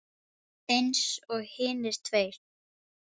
Eins og hinir tveir.